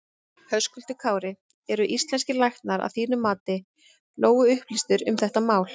Höskuldur Kári: Eru íslenskir læknar að þínu mati nógu upplýstir um þetta mál?